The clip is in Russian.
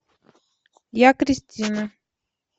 я кристина